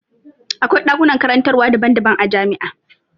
Akwai ɗakunan karantarwa daban daban a jami'a.